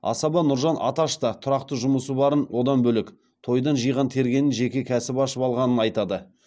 асаба нұржан аташ та тұрақты жұмысы барын одан бөлек тойдан жиған тергеніне жеке кәсіп ашып алғанын айтады